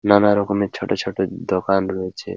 নানা রকমের ছোট ছোট দোকান রয়েছে।